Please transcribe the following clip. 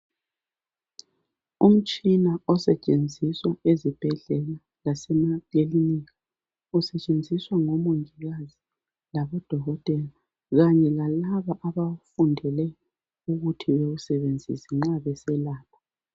Umtshina osetshenziswa ezibhedlela lasemakilinika ezisetshenziswa ngomongikazi labodokotela kanye lalabo abafundele ukuthi bewuseebenzisa nxa beselapha.